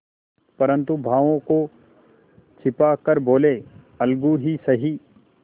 परंतु भावों को छिपा कर बोलेअलगू ही सही